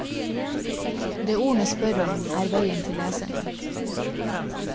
Det ordene spør om, er veien til leserne.